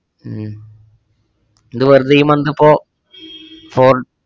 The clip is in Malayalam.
ഉം ഇത് വെർതെയീ month ഇപ്പോ four